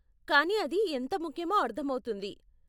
కానీ అది ఎంత ముఖ్యమో అర్ధమవుతుంది.